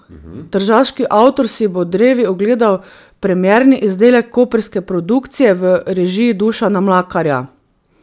Tržaški avtor si bo drevi ogledal premierni izdelek koprske produkcije v režiji Dušana Mlakarja.